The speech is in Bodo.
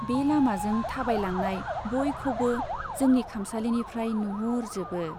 बे लामाजों थाबायलांनाय बयखौबो जोंनि खामसालिनिफ्राय नुहुरजोबो।